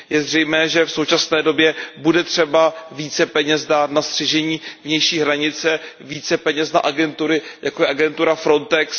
Je zřejmé, že v současné době bude třeba více peněz dát na střežení vnější hranice, více peněz na agentury, jako je agentura FRONTEX.